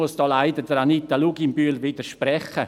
Da muss ich Anita Luginbühl leider widersprechen.